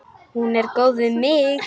Hún er góð við mig.